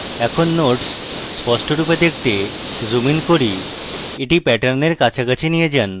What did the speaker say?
এখন nodes স্পষ্টরুপে দেখতে zoom in করি এটি প্যাটার্নেরকাছাকাছি নিয়ে যান